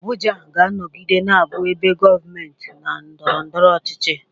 Abuja ga-anọgide na-abụ ebe gọọmenti na ndọrọ ndọrọ ọchịchị.